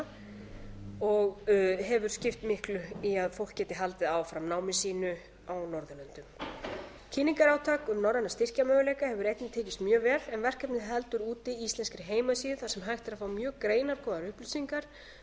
íslkr og hefur skipt miklu í að fólk geti haldið áfram námi sínu á norðurlöndum kynningarátak um norræna styrkjamöguleika hefur einnig tekist mjög vel en verkefnið heldur úti íslenskri heimasíðu þar sem hægt er að fá mjög greinargóðar upplýsingar um